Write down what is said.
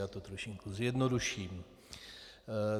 Já to trošku zjednoduším.